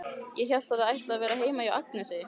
Ég hélt að þið ætluðuð að vera heima hjá Agnesi.